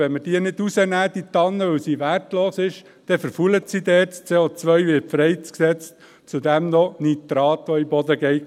Und wenn wir sie nicht herausnehmen, weil sie wertlos ist, verfault sie dort, das CO wird freigesetzt und zudem auch noch Nitrat, das in den Boden geht.